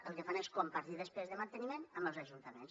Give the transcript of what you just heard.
el que fan és compartir despeses de manteniment amb els ajuntaments